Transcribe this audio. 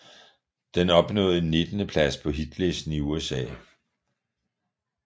Den opnåede en nittendeplads på hitlisten i USA